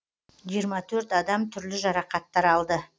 жиырма төрт адам түрлі жарақаттар алды